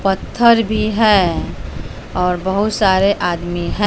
पत्थर भी हैं और बहुत सारे आदमी हैं।